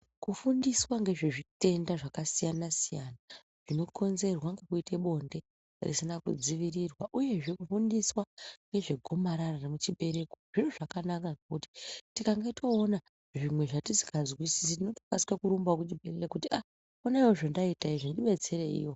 Kufundiswangezve zvitenda zvakasiyana siyana zvinokunzerwa ngekuite bonde risina kudziirirwa uyezve kufundiswa ngezvegomarara rechibereko zviro zvakanaka ngekuti tikange toona zvimwe zvatisingazwisisi tokarira kurumba ngekuti ah honai wo zvendaita izvi ndibetsereiwo